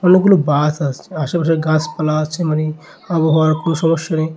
অনেকগুলো বাস আসছে আশেপাশে গাছপালা আছে মানে আবহাওয়ার কোন সমস্যা নেই।